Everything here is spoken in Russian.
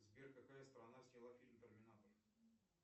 сбер какая страна сняла фильм терминатор